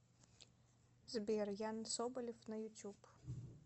сбер ян соболев на ютуб